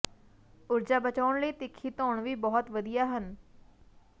ਊਰਜਾ ਬਚਾਉਣ ਲਈ ਤਿੱਖੀ ਧੌਣ ਵੀ ਬਹੁਤ ਵਧੀਆ ਹਨ